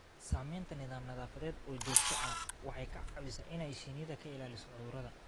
Samaynta nidaam nadaafadeed oo joogto ah waxay ka caawisaa inay shinnida ka ilaaliso cudurrada.